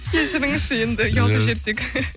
кешіріңізші енді ұялтып жіберсек